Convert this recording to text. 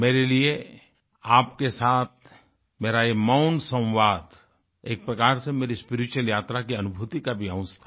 मेरे लिए आपके साथ मेरा ये मौन संवाद एक प्रकार से मेरी स्पिरिचुअल यात्रा की अनुभूति का भी अंश था